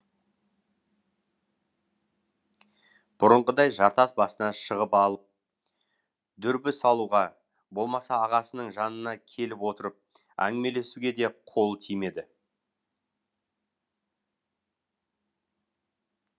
бұрынғыдай жартас басына шығып алып дүрбі салуға болмаса ағасының жанына келіп отырып әңгімелесуге де қолы тимейді